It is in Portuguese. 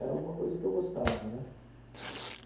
Era alguma coisa que eu gostava, né?